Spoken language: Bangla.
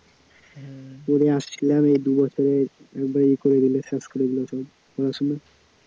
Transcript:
পড়ে আসছিলাম এই দু বছরে একবারে ইয়ে করে দিল, শেষ করে দিল সব পড়াশোনা